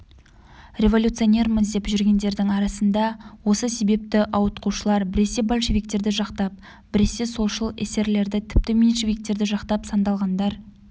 революционерміз деп жүргендердің арасында осы себепті ауытқушылар біресе большевиктерді жақтап біресе солшыл эсерлерді тіпті меньшевиктерді жақтап сандалғандар